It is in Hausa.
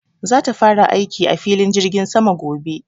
za ta fara aiki a filin jirgin sama gobe